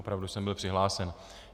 Opravdu jsem byl přihlášen.